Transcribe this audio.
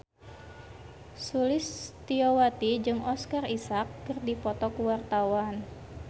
Sulistyowati jeung Oscar Isaac keur dipoto ku wartawan